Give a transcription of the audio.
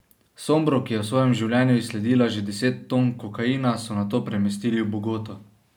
Sombro, ki je v svojem življenju izsledila že deset ton kokaina, so nato premestili v Bogoto.